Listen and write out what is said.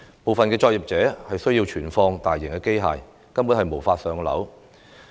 部分作業需要存放大型機械，根本無法"上樓"。